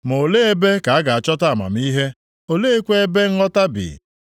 Ma olee ebe ka a ga-achọta amamihe? Olee kwa ebe nghọta bi?